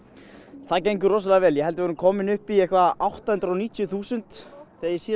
það gengur rosalega vel ég held að við séum komin upp í átta hundruð og níutíu þúsund þegar ég